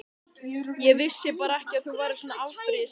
Ég vissi bara ekki að þú værir svona afbrýðisamur.